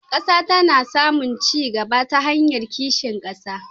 Ƙasa tana samun ci gaba ta hanyar kishin ƙasa.